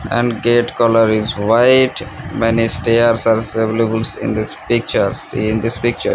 and gate colour is white many stairs are availables in this picture see in this picture.